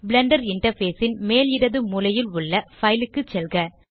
Blender interface ன் மேல் இடது மூலையில் உள்ள பைல் க்கு செல்க